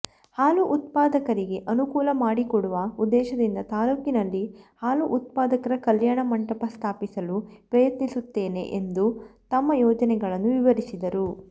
ಹಾಲು ಉತ್ಪಾದಕರಿಗೆ ಅನುಕೂಲ ಮಾಡಿಕೊಡುವ ಉದ್ದೇಶದಿಂದ ತಾಲೂಕಿನಲ್ಲಿ ಹಾಲುಉತ್ಪಾದಕರ ಕಲ್ಯಾಣ ಮಂಟಪ ಸ್ಥಾಪಿಸಲು ಪ್ರಯತ್ನಿಸುತ್ತೇನೆ ಎಂದು ತಮ್ಮ ಯೋಜನೆಗಳನ್ನು ವಿವರಿಸಿದರು